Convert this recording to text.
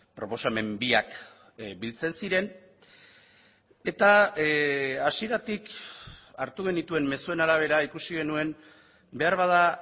proposamen biak biltzen ziren eta hasieratik hartu genituen mezuen arabera ikusi genuen beharbada